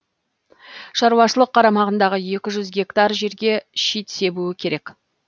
шаруашылық қарамағындағы екі жүз гектар жерге шит себуі керек